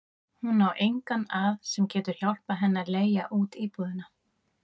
Hún á engan að sem getur hjálpað henni að leigja út íbúðina.